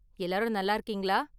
எல்லாரும் நல்லா இருக்கீங்களா?